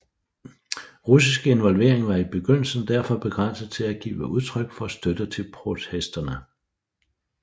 Russisk involvering var i begyndelsen derfor begrænset til at give udtryk for støtte til protesterne